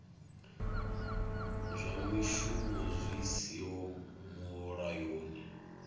zwa mishumo zwi siho mulayoni